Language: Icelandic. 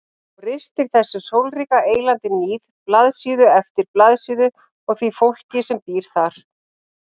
Hún ristir þessu sólríka eylandi níð blaðsíðu eftir blaðsíðu og því fólki sem býr þar.